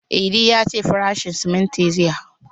Idi ya ce farashin siminti zai hau